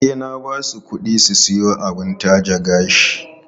E, na ba su kuɗi su siyo abin taje gashi.